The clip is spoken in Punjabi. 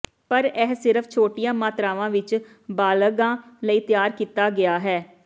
ਪਰ ਇਹ ਸਿਰਫ ਛੋਟੀਆਂ ਮਾਤਰਾਵਾਂ ਵਿੱਚ ਬਾਲਗਾਂ ਲਈ ਤਿਆਰ ਕੀਤਾ ਗਿਆ ਹੈ